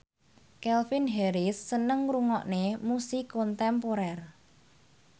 Calvin Harris seneng ngrungokne musik kontemporer